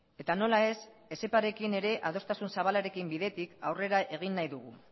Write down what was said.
eta nola ez etxeparekin ere adostasun zabalaren bidetik aurrera egin nahi dugu